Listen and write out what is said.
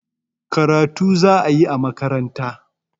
Karatu za a yi a makaranta